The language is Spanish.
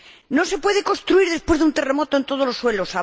No se puede construir después de un terremoto en todos los suelos.